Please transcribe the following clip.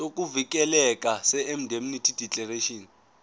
sokuvikeleka seindemnity declaration